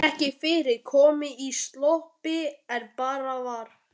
Var ekki fyrr komin í sloppinn en barið var.